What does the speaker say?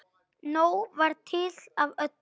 Nóg var til af öllu.